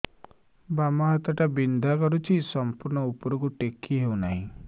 ବାମ ହାତ ଟା ବିନ୍ଧା କରୁଛି ସମ୍ପୂର୍ଣ ଉପରକୁ ଟେକି ହୋଉନାହିଁ